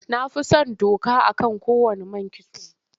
Na fi son doka a man kowanne kitso.